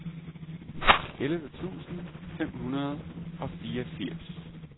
elleve tusind fem hundrede og fireogfirs